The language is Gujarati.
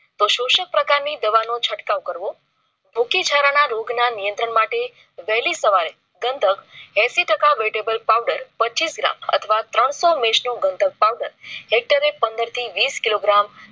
તો શોષક પ્રકાર ની દવા નો છટકાવ કરવો. ભુખી જરા ના રોગ ના નિયંત્રણ માટે વહેલી સવારે ગંધક ઐસી ટકા vetebal powder પચીસ gram અથવા ત્રણસો મેસ નું ગંધક powder હેક્ટરે પંદર થી વીસ કિલો gram